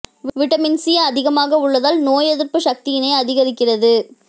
vitamin C அதிகமாக உள்ளதால் நோய் எதிர்ப்பு சக்தியினை அதிகரிக்கிறது